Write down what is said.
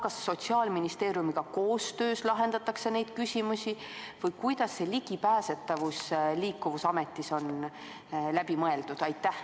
Kas Sotsiaalministeeriumiga koostöös lahendatakse neid küsimusi või kuidas seda laadi ligipääsetavus seoses Liikuvusameti asutamisega on läbi mõeldud?